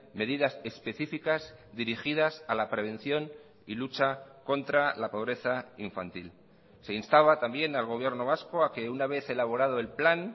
medidas específicas dirigidas a la prevención y lucha contra la pobreza infantil se instaba también al gobierno vasco a que una vez elaborado el plan